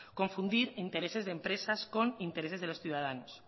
confundir intereses de empresas con intereses de los ciudadanos